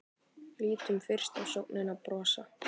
Lítum fyrst á sögnina brosa: